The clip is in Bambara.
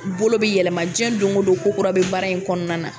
Bolo bɛ yɛlɛma diɲɛ don o don ko kura bɛ baara in kɔnɔna na